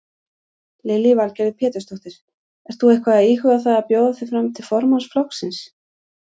Lillý Valgerður Pétursdóttir: Ert þú eitthvað íhuga það að bjóða þig fram til formanns flokksins?